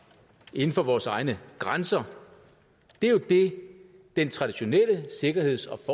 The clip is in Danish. inden for vores egne grænser det er jo det den traditionelle sikkerheds